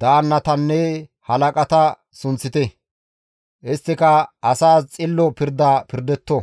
daannatanne halaqata sunththite; isttika asaas xillo pirda pirdetto.